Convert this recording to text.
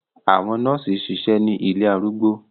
Àwọn nọọsi ṣiṣẹ ni ilé arúgbó